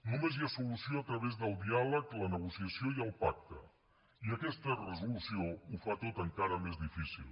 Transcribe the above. només hi ha solució a través del diàleg la negociació i el pacte i aquesta resolució ho fa tot encara més difícil